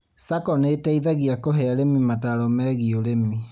SACCO nĩteithagia kũhe arĩmi mataro megiĩ ũrĩmi